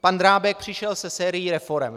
Pan Drábek přišel se sérií reforem.